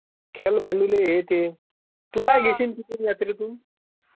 खेळ, भांडुले हे ते...तू काय घेशील तिथुन यात्रे तुन